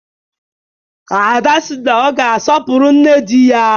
Ada sị na ọ ga-asọpụrụ nne di ya